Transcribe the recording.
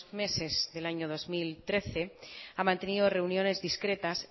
meses del año dos mil trece ha mantenido reuniones discretas